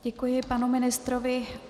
Děkuji panu ministrovi.